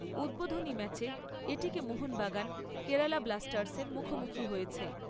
উদ্বোধনী ম্যাচে মোহনবাগান, কেরালা ব্লাস্টার্সের মুখোমুখি হয়েছে।